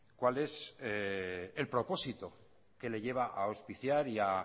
cuál es el propósito que le lleva a auspiciar y a